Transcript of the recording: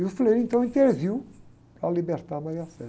E o, então, interviu para libertar a.